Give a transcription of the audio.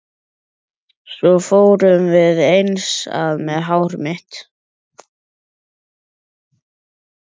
Svo fórum við eins að með hár mitt.